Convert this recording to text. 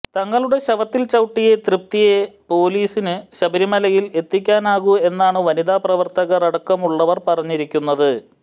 തങ്ങളുടെ ശവത്തിൽ ചവിട്ടിയേ തൃപ്തിയെ പൊലീസിന് ശബരിമലയിൽ എത്തിക്കാനാകൂ എന്നാണ് വനിതാ പ്രവർത്തകർ അടക്കമുള്ളവർ പറഞ്ഞിരിക്കുന്നത്